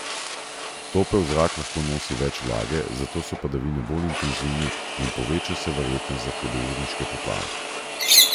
Topel zrak lahko nosi več vlage, zato so padavine bolj intenzivne in poveča se verjetnost za hudourniške poplave.